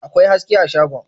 akwai haske a shagon